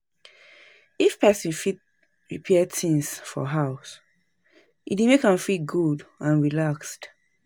If person fit repair things for house, e dey make am feel good and relaxed